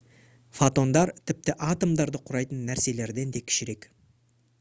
фотондар тіпті атомдарды құрайтын нәрселерден да кішірек